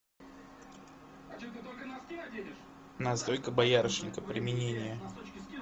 настойка боярышника применение